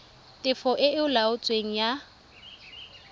tefo e e laotsweng ya